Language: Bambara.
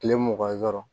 Kile mugan yɔrɔ